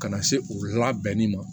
Ka na se u labɛnni ma